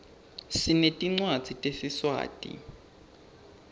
sinetncwadzi tesiswati